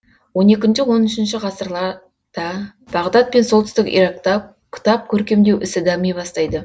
он екінші он үшінші ғасырлар да бағдат пен солтүстік иракта кітап көркемдеу ісі дами бастайды